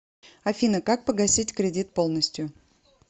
афина как погасить кредит полностью